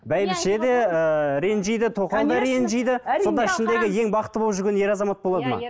бәйбіше де ыыы ренжиді тоқал да ренжиді сонда ішіндегі ең бақытты болып жүрген ер азамат болады ма